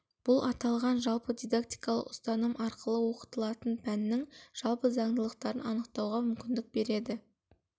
бұл аталған жалпы дидактикалық ұстаным арқылы оқытылатын пәннің жалпы заңдылықтарын анықтауға мүмкіндік береді